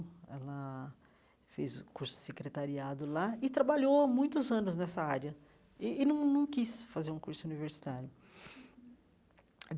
Ela fez o curso secretariado lá e trabalhou há muitos anos nessa área e e não não quis fazer um curso universitário.